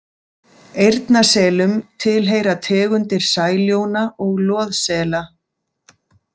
Eyrnaselum tilheyra tegundir sæljóna og loðsela.